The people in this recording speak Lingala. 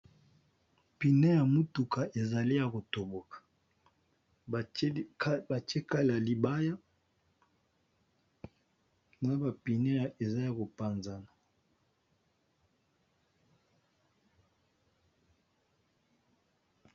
Pneus ya motuka ezali ya kotoboka batie kale ya libaya na ba pneus ya eza ya kopanzana.